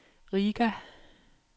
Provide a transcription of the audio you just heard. Riga